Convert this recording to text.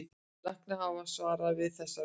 Læknar hafa varað við þessari þróun